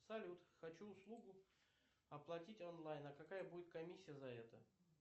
салют хочу услугу оплатить онлайн а какая будет комиссия за это